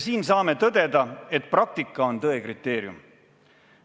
Siin saame tõdeda, et praktika on tõe kriteerium.